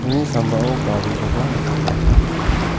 uni sambao garikoba nikatna gita man·a.